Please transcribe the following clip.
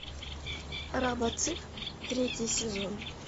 робоцып третий сезон